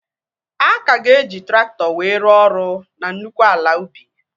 A ka ga-eji traktọ wee rụọ ọrụ na nnukwu ala ubi